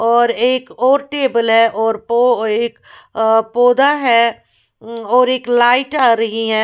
और एक और टेबल है और एक अ पौधा है हम्म एक लाइट आ रही है।